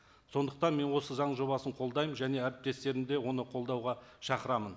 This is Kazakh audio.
сондықтан мен осы заң жобасын қолдаймын және әріптестерімді де оны қолдауға шақырамын